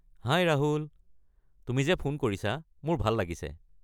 হাই, ৰাহুল! তুমি যে ফোন কৰিছা মোৰ ভাল লাগিছে।